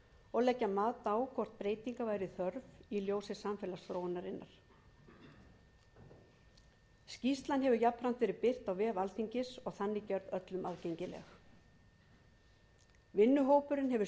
og leggja mat á hvort breytinga væri þörf í ljósi samfélagsþróunarinnar skýrslan hefur jafnframt verið birt á vef alþingis og þannig gerð öllum aðgengileg vinnuhópurinn hefur skilað af sér mjög yfirgripsmikilli